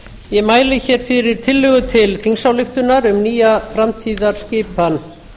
ég mæli fyrir tillögu til þingsályktunar um nýja framtíðarskipan